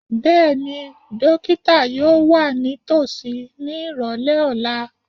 Bẹ́ẹ̀ni, dókítà yóò wà nítòsí ní ìrọ̀lẹ́ ọ̀la